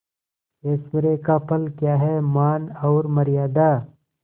ऐश्वर्य का फल क्या हैमान और मर्यादा